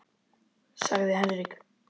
sagði Henrik.